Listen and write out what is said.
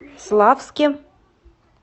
славске